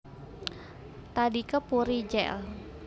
Tadika Puri Jl